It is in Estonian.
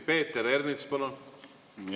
Peeter Ernits, palun!